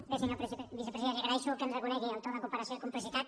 bé senyor vicepresident li agraeixo que ens reconegui el to de cooperació i complicitat